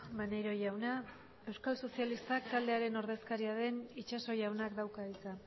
maneiro jauna euskal sozialistak taldearen ordezkaria den itxaso jaunak dauka hitza